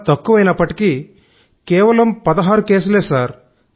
తక్కువే కేవలం 16 కేసులే సార్